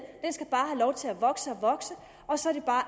den skal bare have lov til at vokse og vokse og så er det bare